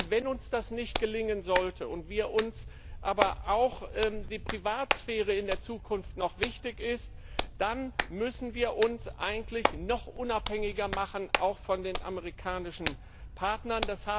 Wenn uns das nicht gelingen sollte und uns aber auch die Privatsphäre in der Zukunft noch wichtig ist, dann müssen wir uns eigentlich noch unabhängiger machen, auch von den amerikanischen Partnern.